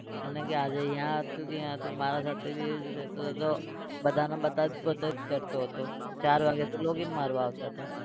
એને કે આજે અહીંયા હતું કે ત્યાં હતું મારા સાથે भी રહેતો હતો બધાને बताई बताई જ કરતો હતો. ચાર વાગે તો login મારવા આવતો હતો.